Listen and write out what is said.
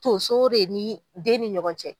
Tonso re ni den ni ɲɔgɔn cɛ.